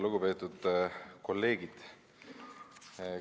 Lugupeetud kolleegid!